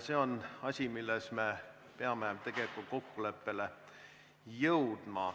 See on asi, milles me peame kokkuleppele jõudma.